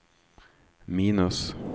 minus